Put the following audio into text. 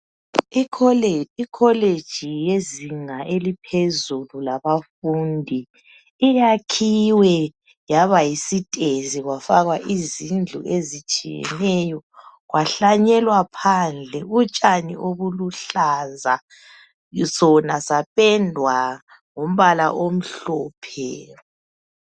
Ikolitshi yezinga eliphezulu labafundi iyakhiwe Yaba yisitezi kwafakwa izindlu ezitshiyeneyo kwahlanyelwa phandle utshani obuluhlaza Sona sapendwa ngombala omhlophe